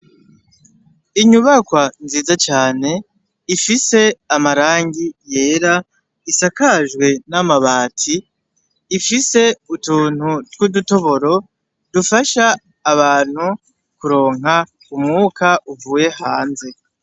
Inyubakwa nziza cane ifise amarangi yera isakajwe n'amabati, ifise utuntu tw'udutoboro dufasha abantu kuronka umwuka uvuye hanze.